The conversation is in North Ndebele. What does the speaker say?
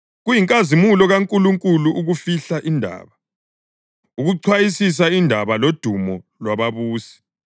Kuyinkazimulo kaNkulunkulu ukufihla indaba; ukuchwayisisa indaba ludumo lwababusi.